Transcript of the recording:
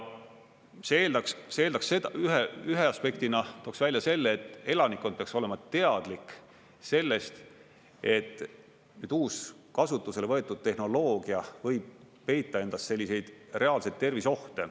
See eeldaks, ühe aspektina tooksin välja selle, et elanikkond peaks olema teadlik sellest, et uus kasutusele võetud tehnoloogia võib peita endas selliseid reaalseid terviseohte.